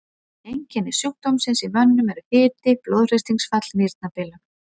Einkenni sjúkdómsins í mönnum eru hiti, blóðþrýstingsfall, nýrnabilun.